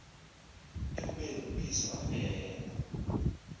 ekubeni uyise wafela